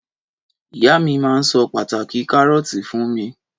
Ìyá mi ma so pàtàki Karọọti fun mi